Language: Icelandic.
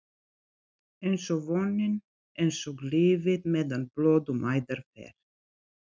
einsog vonin, einsog lífið- meðan blóð um æðar fer.